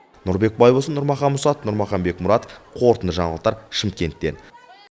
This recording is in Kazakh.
нұрбек байбосын нұрмахан мұсатов нұрмахан бекмұратов қорытынды жаңалықтар шымкенттен